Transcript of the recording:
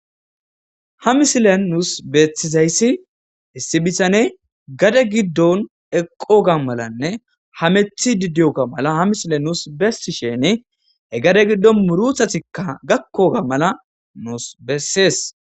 Ha misilen nuus beeththizayssi issi bithane gade giddon eqqoogaa malanne hameththiiddi diyoogaa mala ha mislee nuus bessisheeeni he gade giddon muruthathikka gakkoogaa mala nuus bessees.